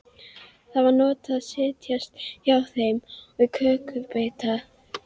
Það var notalegt að setjast hjá þeim og fá kökubita.